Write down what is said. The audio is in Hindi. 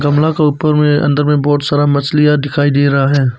गमला के ऊपर में अंदर में बहुत सारा मछलियां दिखाई दे रहा है।